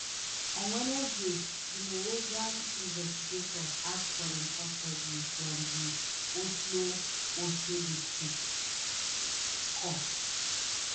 on wednesday di norwegian investigators ask for im custody from di oslo oslo district court